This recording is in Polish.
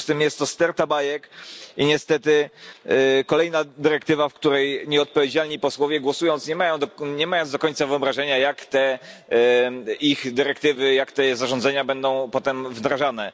W związku z tym jest to sterta bajek i niestety kolejna dyrektywa, nad którą nieodpowiedzialni posłowie głosują i nie mają do końca wyobrażenia jak te ich dyrektywy i zarządzenia będą potem wdrażane.